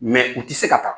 u tɛ se ka taa